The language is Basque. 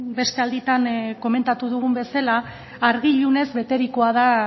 beste alditan komentatu dugun bezala argi ilunez beterikoa da